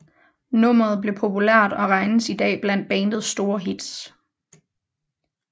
Nummeret blev populært og regnes i dag blandt bandets store hits